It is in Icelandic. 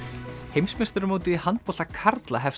heimsmeistaramótið í handbolta karla hefst